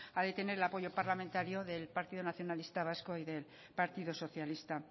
ha de tener el apoyo parlamentario del partido nacionalista vasco y del partido socialista